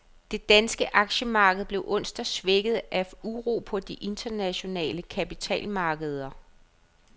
Det danske aktiemarked blev onsdag svækket af uro på de internationale kapitalmarkeder.